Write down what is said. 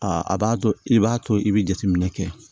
Aa a b'a to i b'a to i bɛ jateminɛ kɛ